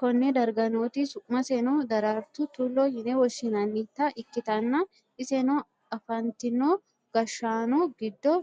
konne darga nooti su'maseno daraartu tullu yine woshshi'nannita ikkitanna, iseno afantino gashshaano giddo